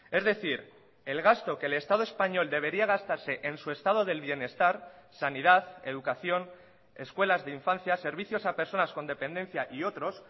es decir el gasto que el estado español debería gastarse en su estado del bienestar sanidad educación escuelas de infancia servicios a personas con dependencia y otros